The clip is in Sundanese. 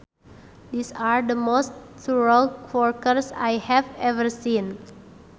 These are the most thorough workers I have ever seen